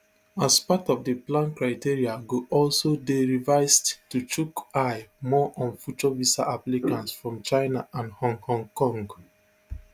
as part of di plan criteria go also dey revised to chook eye more on future visa applicants from china and hong hong kong